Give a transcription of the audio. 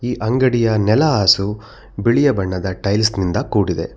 ಈ ಅಂಗಡಿಯ ನೆಲ ಹಾಸು ಬಿಳಿಯ ಬಣ್ಣದ ಟೈಲ್ಸ್ ನಿಂದ ಕೂಡಿದೆ.